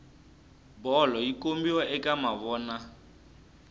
bolo yi kombiwa ka mavona